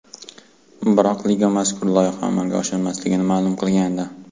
Biroq liga mazkur loyiha amalga oshmasligini ma’lum qilgandi .